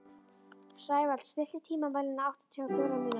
Sævald, stilltu tímamælinn á áttatíu og fjórar mínútur.